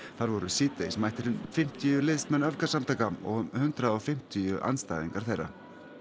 þar voru síðdegis mættir um fimmtíu liðsmenn öfgasamtaka og um hundrað og fimmtíu andstæðingar þeirra